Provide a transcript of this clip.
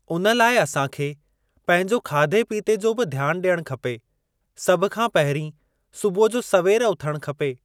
उन लाइ असां खे पंहिंजो खाधे पीते जो बि ध्यानु ॾियणु खपे सभु खां पंहिरीं सुबुह जो सवेर उथणु खपे।